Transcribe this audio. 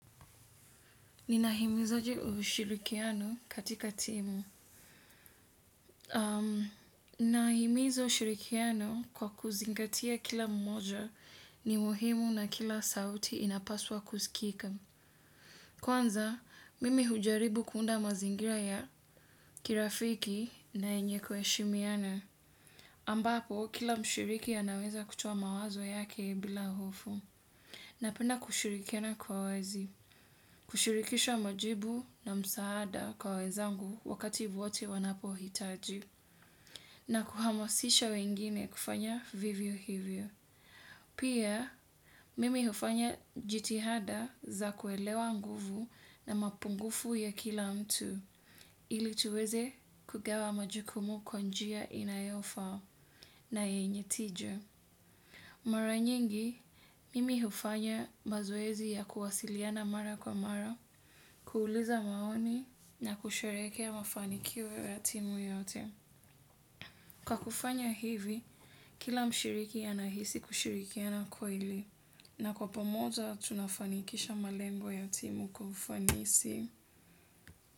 Ninahimizaje ushirikiano katika timu. Nahimiza ushirikiano kwa kuzingatia kila mmoja ni muhimu na kila sauti inapaswa kuskika. Kwanza, mimi hujaribu kuunda mazingira ya kirafiki na yenye kuheshimiana. Ambapo, kila mshiriki anaweza kutowa mawazo yake bila hofu. Napenda kushurikina kwa wazi, kushurikisha majibu na msaada kwa wezangu wakati wote wanapohitaji, na kuhamasisha wengine kufanya vivyo hivyo. Pia, mimi hufanya jitihada za kuelewa nguvu na mapungufu ya kila mtu, ili tuweze kugawa majukumu kwa njia inayofaa na yenye tija. Mara nyingi, mimi hufanya mazoezi ya kuwasiliana mara kwa mara, kuuliza maoni na kusherehekea mafanikio ya timu yote. Kwa kufanya hivi, kila mshiriki anahisi kushirikiana kweli. Na kwa pamoja, tunafanikisha malengo ya timu kwa ufanisi.